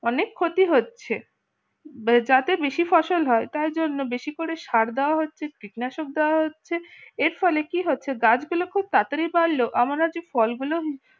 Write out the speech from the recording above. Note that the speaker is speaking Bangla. অনেক ক্ষতি হচ্ছে যাতে বেশি ফসল হয় তার জন্য বেশি করে সার দেওয়া হচ্ছে কীটনাশক দেওয়া হচ্ছে এর ফলে কি হচ্ছে গাছগুলো খুব তাড়াতাড়ি বাড়ল ফলগুলো